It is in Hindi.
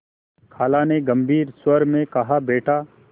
खाला ने गम्भीर स्वर में कहाबेटा